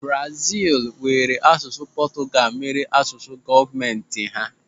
Brazil were asụsụ Portugal mere asụsụ gọọmenti ha.